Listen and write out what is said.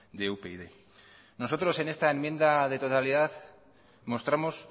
de upyd nosotros en esta enmienda de totalidad mostramos